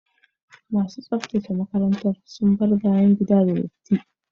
Masu tsaftace makarantar sun bar bayan gida da datti.